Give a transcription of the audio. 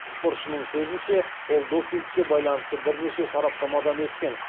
спортшының сөзінше ол допингке байланысты бірнеше сараптамадан өткен